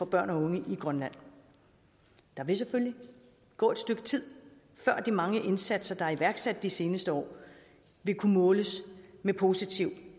børn og unge i grønland der vil selvfølgelig gå et stykke tid før de mange indsatser der er iværksat de seneste år vil kunne måles med positiv